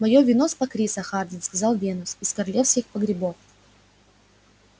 моё вино с покриса хардин сказал венус из королевских погребов